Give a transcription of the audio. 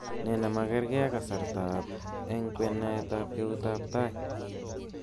Ne nemakerkei ak kasartab eng kwenaet ak keutiab tai